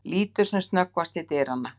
Lítur sem snöggvast til dyranna.